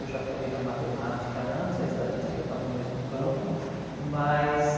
Eu já falei da matemática antes, a estatística está no mesmo campo, mas...